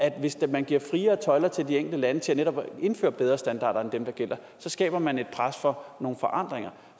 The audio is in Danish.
hvis man giver friere tøjler til de enkelte lande til netop at indføre bedre standarder end dem der gælder så skaber man et pres for nogle forandringer